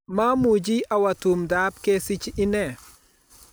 Mamuch awo tumdo ab kesich inne